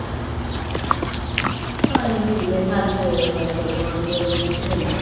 કાંઈ નઈ બેઠા છીએ ને આ છોકરાન બે અહિયાં છે ને